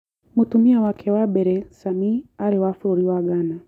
Mũtumia wake wa mbere, Sami, aarĩ wa bũrũri wa Ghana.